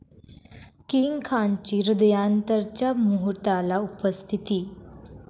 king खानची 'हृदयांतर'च्या मुहूर्ताला उपस्थिती